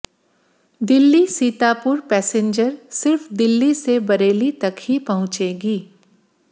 Delhi Sitapur passenger सिर्फ दिल्ली से बरेली तक ही पहुंचेगी